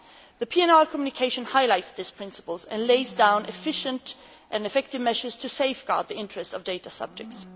The PNR communication highlights these principles and lays down efficient and effective measures to safeguard the interest of data subjects.